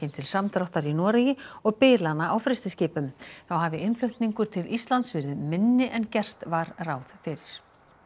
til samdráttar í Noregi og bilana á frystiskipum þá hafi innflutningur til Íslands verið minni en gert var ráð fyrir